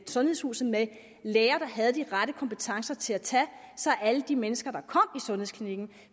sundhedshuset med læger der havde de rette kompetencer til at tage sig af alle de mennesker der kom sundhedsklinikken